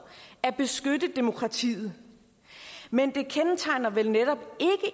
at beskytte demokratiet men det kendetegner vel netop